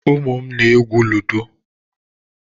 Ụmụ m na-egwú ludo.